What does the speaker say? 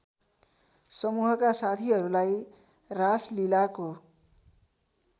समूहका साथीहरूलाई रासलीलाको